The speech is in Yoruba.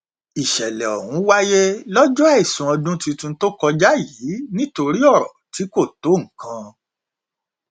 ìṣẹlẹ ọhún wáyé lọjọ àìsùn ọdún tuntun tó kọjá yìí nítorí ọrọ tí kò tó nǹkan